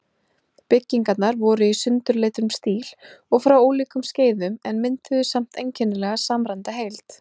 Byggingarnar voru í sundurleitum stílum og frá ólíkum skeiðum, en mynduðu samt einkennilega samræmda heild.